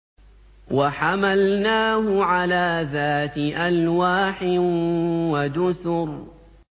وَحَمَلْنَاهُ عَلَىٰ ذَاتِ أَلْوَاحٍ وَدُسُرٍ